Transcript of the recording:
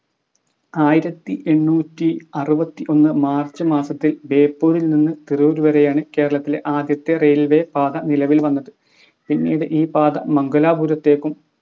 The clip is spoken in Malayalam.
ആയിരത്തി എണ്ണൂറ്റി അറുവത്തി ഒന്ന് March മാസത്തിൽ ബേപ്പൂരിൽ നിന്ന് തിരൂർ വരെയാണ് കേരളത്തിലെ ആദ്യത്തെ railway പാത നിലവിൽ വന്നത് പിന്നീട് ഈ പാത മംഗലാപുരത്തേക്കും